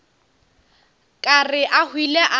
ka re a hwile a